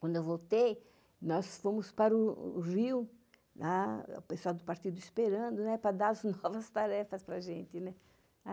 Quando eu voltei, nós fomos para o Rio, o pessoal do partido esperando para dar as novas tarefas para a gente.